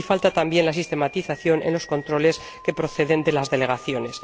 Y falta también la sistematización de los controles que proceden de las delegaciones.